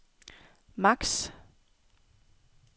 maks